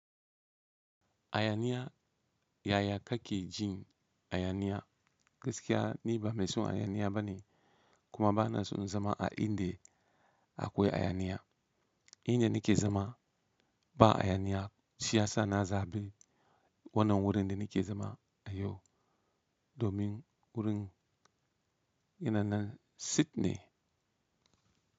A haniya yaya ka ke jin a haniya gaskiya ni ba mai son a haniya bane kuma ba na son zama a inda akwai a hayaniya. Inda nike zama ba a hayaniya shiiyasa na zaɓi wannan wurin da nike zama a yau domin wurin yana nan tsit ne.